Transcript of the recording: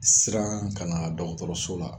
Siran kana dɔgɔtɔrɔso la